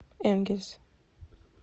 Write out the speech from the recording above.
энгельс